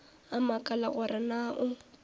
a makala gore na o